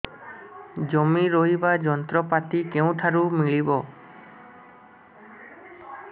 ଜମି ରୋଇବା ଯନ୍ତ୍ରପାତି କେଉଁଠାରୁ ମିଳିବ